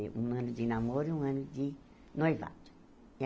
Um ano de namoro e um ano de noivado.